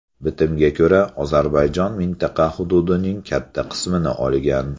Bitimga ko‘ra, Ozarbayjon mintaqa hududining katta qismini olgan.